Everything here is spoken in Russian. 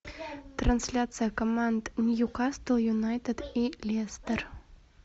трансляция команд ньюкасл юнайтед и лестер